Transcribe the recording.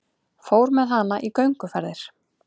Fór með hana í gönguferðir.